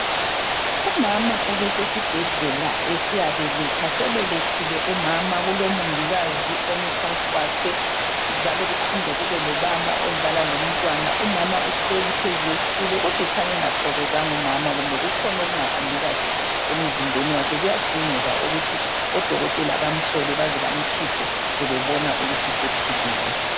Umama ubesesibhedlela esiya beletha sebelethile umama kulomongikazi omi phansi kwakhe njalo kuphinde kube lobaba odlala lomntwana umama uhleli phezu kwesitulo kodwa ukhanya engathokozanga umama kumbe kukhona okungahambi kahle emzimbeni wakhe kuyadingeka ukuthi odokotela bamhlole baze bamkhiphe sebebona ukuthi sephilile.